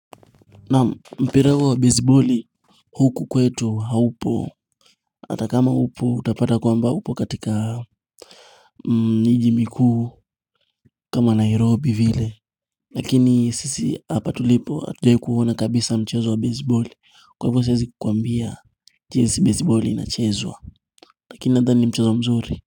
Naam mpira huo wa besiboli huku kwetu haupo hata kama upo utapata kwamba upo katika miji mikuu kama Nairobi vile Lakini sisi hapa tulipo hatujawahi kuona kabisa mchezo wa besiboli Kwa hivyo siwezi kukuambia jinsi besiboli inachezwa Lakini nadhani ni mchezo mzuri.